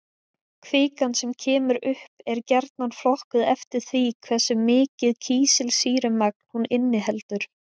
Kvikan sem kemur upp er gjarnan flokkuð eftir því hversu mikið kísilsýrumagn hún inniheldur.